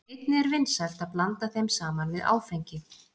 einnig er vinsælt að blanda þeim saman við áfengi